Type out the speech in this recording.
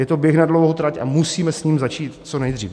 Je to běh na dlouhou trať a musíme s tím začít co nejdřív.